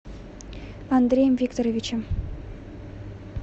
андреем викторовичем